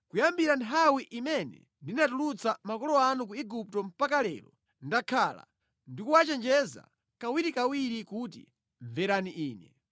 Kuyambira nthawi imene ndinatulutsa makolo anu ku Igupto mpaka lero, ndakhala ndi kuwachenjeza kawirikawiri kuti, ‘Mverani Ine.’